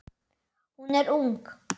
Hún er ung.